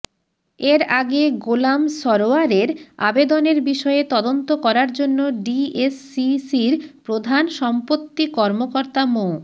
এর আগে গোলাম সরোয়ারের আবেদনের বিষয়ে তদন্ত করার জন্য ডিএসসিসির প্রধান সম্পত্তি কর্মকর্তা মো